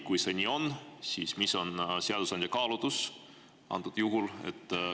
Kui see nii on, siis mis on seadusandja kaalutlus antud juhul?